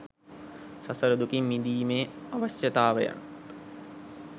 සසර දුකින් මිදීමේ අවශ්‍යතාවයත්